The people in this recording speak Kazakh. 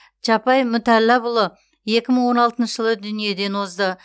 чапай мүтәллапұлы екі мың он алтыншы жылы дүниеден озды